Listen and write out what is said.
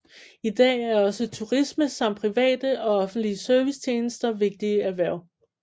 I dag er også turisme samt private og offentlige servicetjenester vigtige erhverv